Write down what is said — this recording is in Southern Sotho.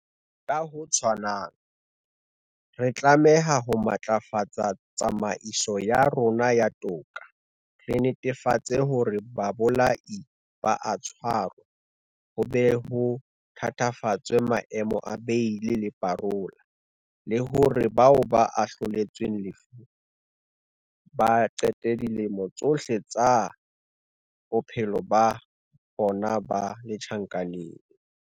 Ka ho tshwanang, re tlameha ho matlafatsa tsamaiso ya rona ya toka, re netefatse hore babolai ba a tshwarwa, ho be ho thatafatswe maemo a beili le parola, le hore bao ba ahloletsweng lefu ba qete dilemo tsohle tsa bophelo ba bona ba le tjhankaneng.